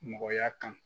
Mɔgɔya kan